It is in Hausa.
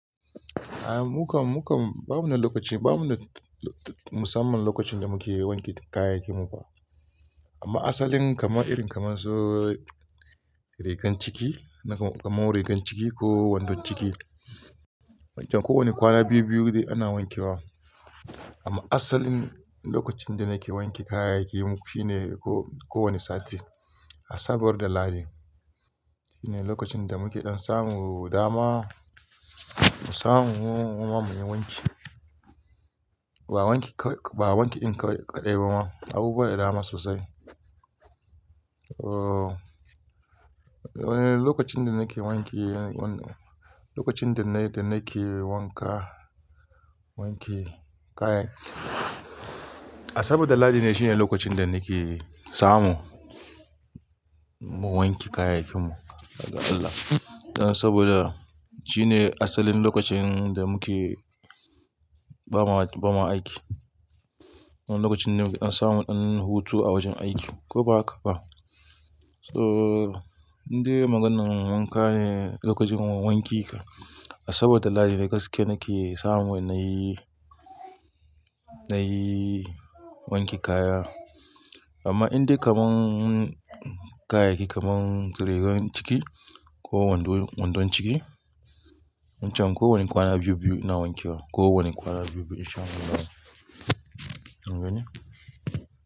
A'a mu kam, mu kam ba mu na lokaci, ba mu na musamman lokacin da muke wanke kayayyakinmu ba. Amma asalin kamar irin kamar su rigan ciki, kamar rigan ciki ko wandon ciki, wancan kowane kwana biyu-biyu dai ana wanke wa. Amma asalin lokacin da nake wanke kayayyakinmu shi ne ko kowane sati, Asabar da Lahadi. Shi ne lokacin da muke dan samu dama, mu samu mu muma mu yi wanki. Ba wanki, ba wanki in kaɗai ba, abubuwa da dama sosai. Eh. Lokacin da nake wanke, lokacin da nake wanka, wanke kayayyaki, Asabar da Lahadi ne shine lokacin da nake samu mu wanke kayayyakinmu daga Allah. Saboda shi ne asalin lokacin da muke bama, bama aiki. Wannan lokacin ne an samu an hutu a wajen aiki ko ba haka ba. So indai maganar wanka ne lokacin wanki ka, Asabar da Lahadi gaske nake samu na yi, na yi wanke kaya. Amma indai kamar kayayyaki kamar su rigan ciki ko wandon, wandon ciki, wancan kowane kwana biyu-biyu ina wanke wa, kowane kwana biyu-biyu in sha guda. An gane?